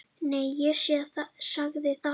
Nei, ég sagði það.